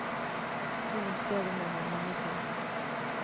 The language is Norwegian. Noen steder må man ringe på.